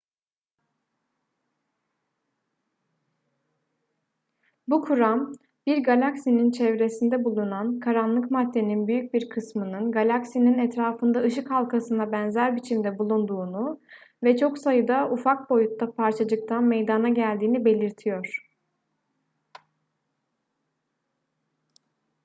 bu kuram bir galaksinin çevresinde bulunan karanlık maddenin büyük bir kısmının galaksinin etrafında ışık halkasına benzer biçimde bulunduğunu ve çok sayıda ufak boyutta parçacıktan meydana geldiğini belirtiyor